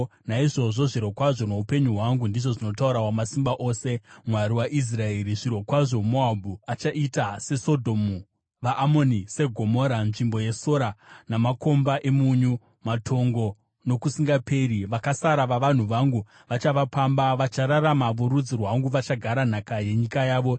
Naizvozvo, zvirokwazvo noupenyu hwangu,” ndizvo zvinotaura Wamasimba Ose, Mwari waIsraeri, “zvirokwazvo Moabhu achaita seSodhomu, vaAmoni seGomora, nzvimbo yesora namakomba emunyu, matongo nokusingaperi. Vakasara vavanhu vangu vachavapamba; vachararama vorudzi rwangu vachagara nhaka yenyika yavo.”